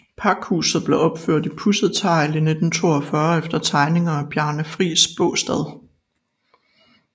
Pakhuset blev opført i pudset tegl i 1942 efter tegninger af Bjarne Friis Baastad